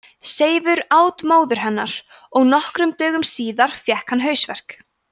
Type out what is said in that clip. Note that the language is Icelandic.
seifur át móður hennar og nokkrum dögum síðar fékk hann hausverk